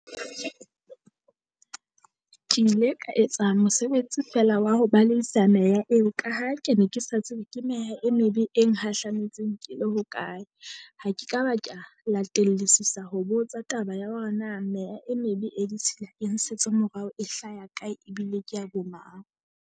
Ke ile ka etsa mosebetsi feela wa ho ba la eo ka ha ke ne ke sa tsebe ke meha e mebe e nghahlametseng ke le hokae. Ha ke ka ba ka latellisisa ho botsa taba ya hore na meya e mebe e ditshila e ngsetse morao, e hlaya kae ebile kea bo mang.